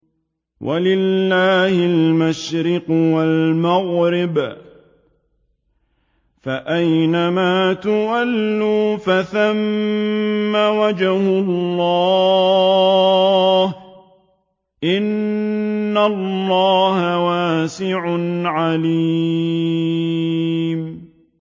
وَلِلَّهِ الْمَشْرِقُ وَالْمَغْرِبُ ۚ فَأَيْنَمَا تُوَلُّوا فَثَمَّ وَجْهُ اللَّهِ ۚ إِنَّ اللَّهَ وَاسِعٌ عَلِيمٌ